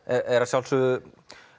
er að sjálfsögðu